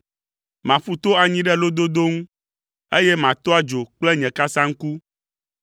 Maƒu to anyi ɖe lododo ŋu, eye mato adzo kple nye kasaŋku.